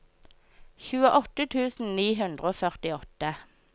tjueåtte tusen ni hundre og førtiåtte